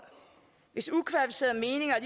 hvis ukvalificerede meninger